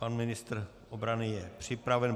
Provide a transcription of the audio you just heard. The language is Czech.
Pan ministr obrany je připraven.